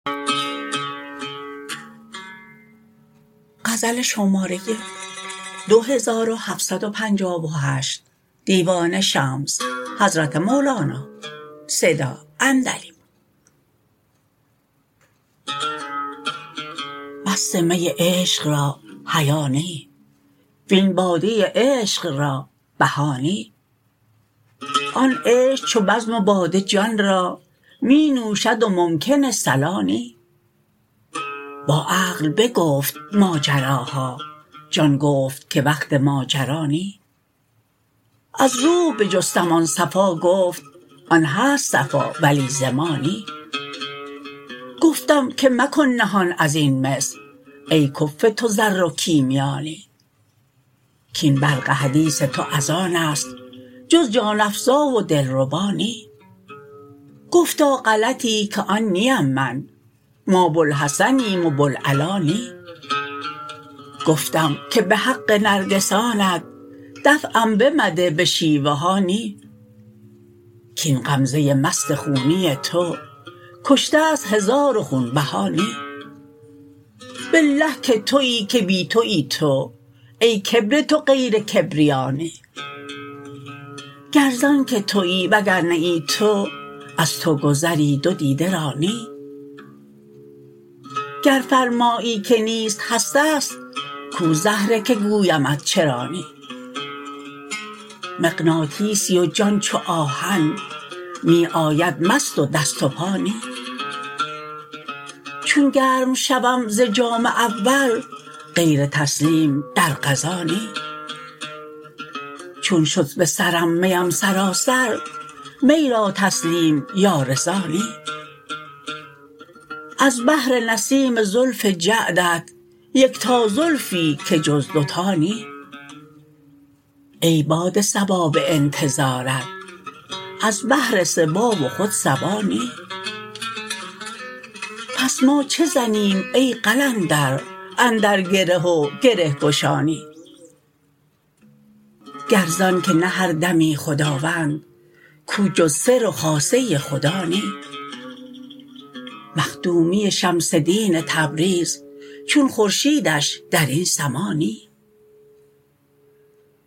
مست می عشق را حیا نی وین باده عشق را بها نی آن عشق چو بزم و باده جان را می نوشد و ممکن صلا نی با عقل بگفت ماجراها جان گفت که وقت ماجرا نی از روح بجستم آن صفا گفت آن هست صفا ولی ز ما نی گفتم که مکن نهان از این مس ای کفو تو زر و کیمیا نی کاین برق حدیث تو از آن است جز جان افزا و دلربا نی گفتا غلطی که آن نیم من ما بوالحسنیم و بوالعلا نی گفتم که به حق نرگسانت دفعم بمده به شیوه ها نی کاین غمزه مست خونی تو کشته ست هزار و خونبها نی بالله که توی که بی توی تو ای کبر تو غیر کبریا نی گر ز آنک توی و گر نه ای تو از تو گذری دو دیده را نی گر فرمایی که نیست هست است کو زهره که گویمت چرا نی مغناطیسی و جان چو آهن می آید مست و دست و پا نی چون گرم شوم ز جام اول غیر تسلیم در قضا نی چون شد به سرم میم سراسر می را تسلیم یا رضا نی از بهر نسیم زلف جعدت یکتا زلفی که جز دو تا نی ای باد صبا به انتظارت از بهر صبا و خود صبا نی پس ما چه زنیم ای قلندر اندر گره و گره گشا نی گر ز آنک نه هر دمی خداوند کو جز سر و خاصه خدا نی مخدومی شمس دین تبریز چون خورشیدش در این سما نی